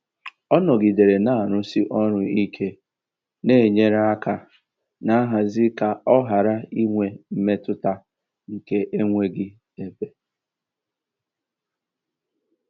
Ọ́ nọ̀gídéré nà-àrụ̀sí ọ́rụ̀ íké nà-ènyérè áká nà nhazì kà ọ́ ghárá ínwé mmétụ́tà nkè énweghị́ ébé.